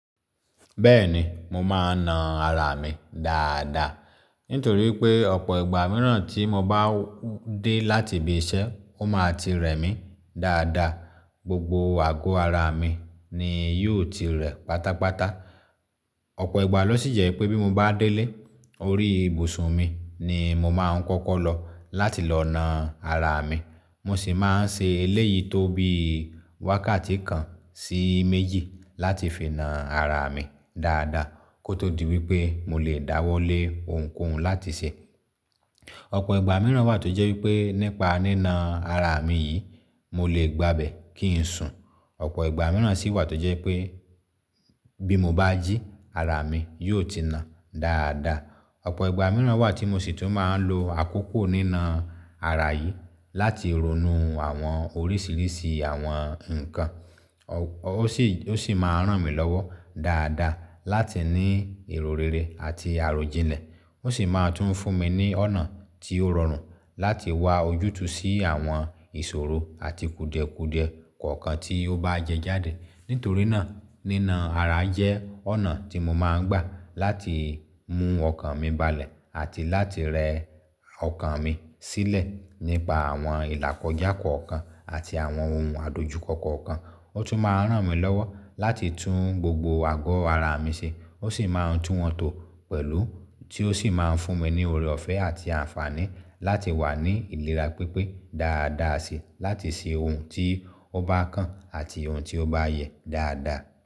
Bẹ́ẹ̀ni, mo máa ń na ara mi dáadáa. Nítorí pé ọ̀pọ̀ ìgbà mìíràn tí mo bá dé láti ibi iṣẹ́, ó máa ti rẹ̀ mí dáadáa, gbogbo àgọ́ ara mi ni yóò ti rẹ̀ pátápátá. Ọ̀pọ̀ ìgbà lọ sí jẹ́ pé bí mo bá délé, orí ibùsùn mi ni mo máa ń kọ́kọ́ lọ láti lọ na ara mi. Mo sì máa ń ṣe eléyìí tó bí wákàtí kan sí méjì láti fi na ara mi dáadáa kó tó di wípé mo lè dáwọ́lé ohunkóhun láti ṣe. Ọ̀pọ̀ ìgbà mìíràn wà tó jẹ́ wípé nípa nína ara mi yìí, mo lè gbabẹ̀ kí n sùn. Ọ̀pọ̀ ìgbà mìíràn sì wà tó jẹ́ pé bí mo bá jí, ara mi yóò ti na dáadáa. Ọ̀pọ̀ ìgbà mìíràn wà tí mo sì tún máa ń lo àkókò nína ara yìí láti ronú àwọn oríṣiríṣi àwọn nǹkan. Ó sì, ó sì máa ń ràn mí lọ́wọ́ dáadáa láti ní ìrò rerẹ̀ àti àròjinlẹ̀. Ó sì máa tún fún mi ní ọ̀nà tí ó rọrùn láti wá ojútùú sí àwọn ìṣòro àti kùdẹ̀kùdẹ̀ kọ̀ọ̀kan tí ó bá jẹjáde. Nítorí náà, nína ara jẹ́ ọ̀nà tí mo máa ń gbà láti mú ọkàn mi balẹ̀ àti láti rẹ ọkàn mi sílẹ̀ nípa àwọn ìlàkọjá kọ̀ọ̀kan àti àwọn ohun àdojúkọ kọ̀ọ̀kan. Ó tún máa ń ràn mí lọ́wọ́ láti tún gbogbo àgọ́ ara mi ṣe. Ó sì máa ń tún wọn tò pẹ̀lú tí ó sì máa ń fún mi ní ọrọ̀ ọ̀fẹ́ àti àǹfààní láti wà ní ìlera pípé dáadáa síi láti ṣe ohun tí ó bá kàn àti ohun tí ó bá yẹ dáadáa.